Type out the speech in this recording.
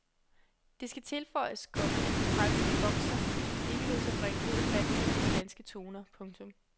Det skal tilføjes, komma at den franske bokser ikke lod sig bringe ud af fatning af de danske toner. punktum